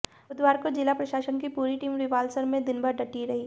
बुधवार को जिला प्रशासन की पूरी टीम रिवालसर में दिन भर डटी रही